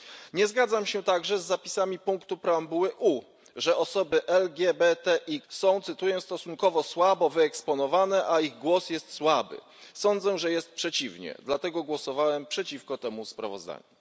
Nie zgadzam się także z zapisami punktu preambuły U, że osoby LGBTIQ są stosunkowo słabo wyeksponowane, a ich głos jest słaby. Sądzę, że jest przeciwnie, dlatego głosowałem przeciwko temu sprawozdaniu.